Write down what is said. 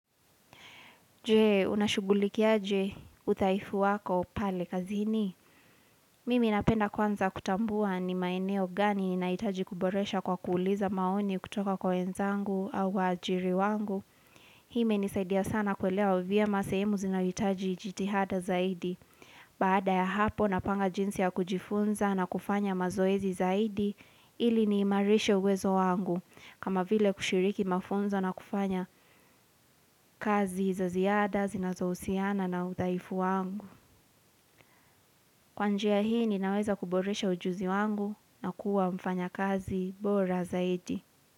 Je, unashugulikiaje, udhaifu wako pale kazini. Mimi napenda kwanza kutambua ni maeneo gani inaitaji kuboresha kwa kuuliza maoni kutoka kwa wenzangu au waajiri wangu. Hi imenisaidia sana kuelewa vyema sehemu zinayoitaji jitihada zaidi. Baada ya hapo napanga jinsi ya kujifunza na kufanya mazoezi zaidi, ili ni imarishe uwezo wangu. Kama vile kushiriki mafunzo na kufanya kazi za ziada, zinazo husiana na udhaifu wangu. Kwa njia hii ninaweza kuboresha ujuzi wangu na kuwa mfanyakazi bora zaidi.